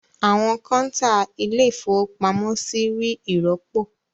Àwọn kọ́ńtà Ilé-ìfowópamọ́sí rí ìrọ́pò.